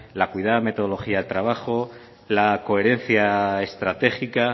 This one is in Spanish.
la cuidada mejoría del trabajo la coherencia estratégica